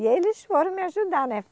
E eles foram me ajudar, né?